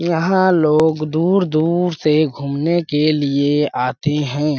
यहाँ लोग दूर-दूर से घूमने के लिए आते हैं।